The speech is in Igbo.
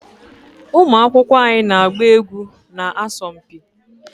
ụmụ akwụkwọ anyị na-agba egwu na asọmpi